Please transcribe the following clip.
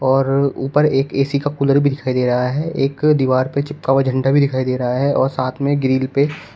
और ऊपर एक ए_सी का कूलर भी दिखाई दे रहा है एक दीवार पे चिपका हुआ झंडा भी दिखाई दे रहा है और साथ में ग्रिल पे--